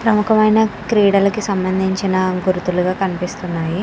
ప్రముఖ మేనా క్రీడలకు సంబంధించిన గుర్తులుగా కనిపిస్తున్నాయి.